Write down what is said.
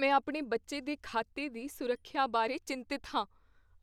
ਮੈਂ ਆਪਣੇ ਬੱਚੇ ਦੇ ਖਾਤੇ ਦੀ ਸੁਰੱਖਿਆ ਬਾਰੇ ਚਿੰਤਤ ਹਾਂ